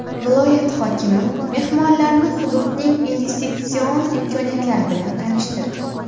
Viloyat hokimi mehmonlarni hududning investitsion imkoniyatlari bilan tanishtirdi.